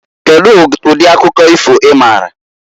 Kedu ụdị akụkọ ifo ịmaara?